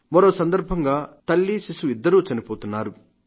మరో సందర్భంగా తల్లి శిశువు ఇద్దరూ చనిపోతున్నారు